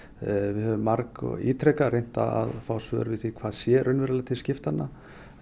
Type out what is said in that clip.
við höfum margítrekað reynt að fá svör við því hvað sé raunverulega til skiptanna